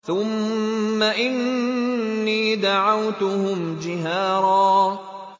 ثُمَّ إِنِّي دَعَوْتُهُمْ جِهَارًا